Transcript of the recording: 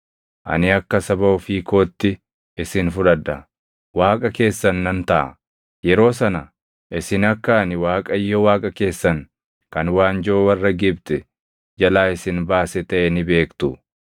Ani akka saba ofii kootti isin fudhadha; Waaqa keessan nan taʼa. Yeroo sana isin akka ani Waaqayyo Waaqa keessan kan waanjoo warra Gibxi jalaa isin baase taʼe ni beektu.